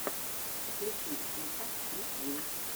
включи фифа ти ви